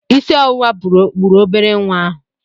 Isi ọwụwa gburu obere nwa ahụ.